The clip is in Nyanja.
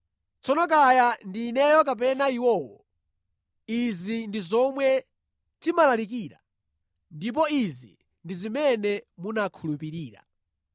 Tsono kaya ndi ineyo kapena iwowo, izi ndi zomwe timalalikira, ndipo izi ndi zimene munakhulupirira.